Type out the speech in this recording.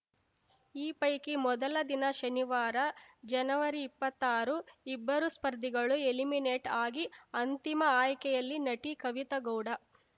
ಈ ಪೈಕಿ ಮೊದಲ ದಿನ ಶನಿವಾರ ಜನವರಿಇಪ್ಪತ್ತಾರು ಇಬ್ಬರು ಸ್ಪರ್ಧಿಗಳು ಎಲಿಮಿನೇಟ್‌ ಆಗಿ ಅಂತಿಮ ಆಯ್ಕೆಯಲ್ಲಿ ನಟಿ ಕವಿತಾ ಗೌಡ